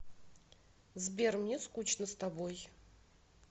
сбер мне скучно с тобой